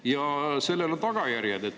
Ja sellel on tagajärjed.